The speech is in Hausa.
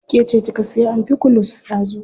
Ke ce kika siya amfikulus dazu.